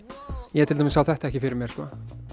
ég til dæmis sá þetta ekki fyrir mér sko